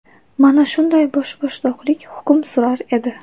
Mana shunday boshboshdoqlik hukm surar edi.